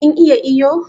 Kin iya iyo?